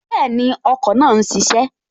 Bẹ́ẹ̀ni, ọkọ̀ náà n ṣiṣẹ́